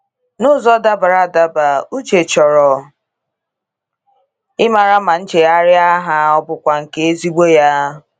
N’ụzọ dabara adaba ,Uche chọrọ ịmara ma nchegharị ha ọ bụkwa nke ezigbo ya.